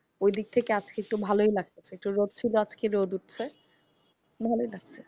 ওদিক থেকে আজকে একটু ভালই লাগতেছে। তো রোদ ছিল আজকে রোদ উঠছে ভালই লাগছে।